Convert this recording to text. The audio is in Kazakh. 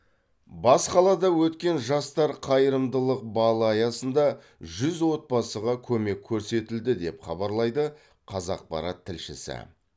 бас қалада өткен жастар қайырымдылық балы аясында жүз отбасыға көмек көрсетілді деп хабарлайды қазақпарат тілшісі